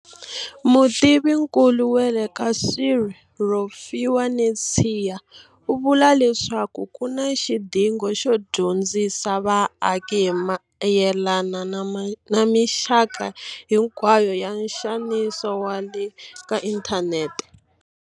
Mutivinkulu wa le ka CSIR Rofhiwa Netshiya u vula leswaku ku na xidingo xo dyondzisa vaaki hi mayelana na mixaka hinkwayo ya nxaniso wa le ka inthanete.